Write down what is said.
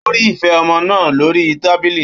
Ó rí ife ọmọ náà lórí tábìlì.